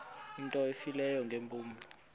into efileyo ngeempumlo